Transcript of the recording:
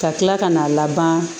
Ka kila ka n'a laban